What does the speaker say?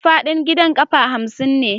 Faɗin gidan ƙafa hamsin ne.